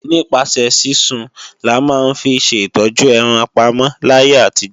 Nípasẹ̀ sísun là máa ń fi ṣe ìtọ́jú ẹran pamọ́ láyé àtijó.